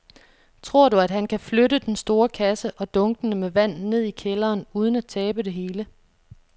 Tror du, at han kan flytte den store kasse og dunkene med vand ned i kælderen uden at tabe det hele?